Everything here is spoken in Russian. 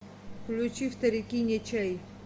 включи вторяки не чай